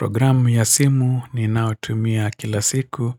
Programu ya simu ni naotumia kila siku